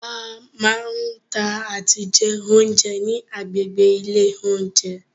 A máa ń tà àti jẹ oúnjẹ ni agbègbè ilé oúnjẹ.